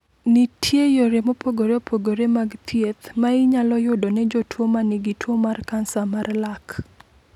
Nitie yore mopogore opogore mag thieth ma inyalo yudo ne jotuwo ma nigi tuwo mar kansa mar lak.